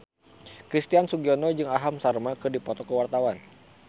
Christian Sugiono jeung Aham Sharma keur dipoto ku wartawan